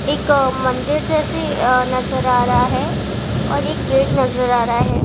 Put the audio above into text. एक मंदिर जैसा नजर आ रहा है और एक गेट नजर आ रहा है।